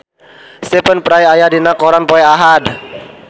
Stephen Fry aya dina koran poe Ahad